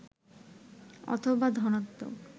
অথবা ধনাত্নক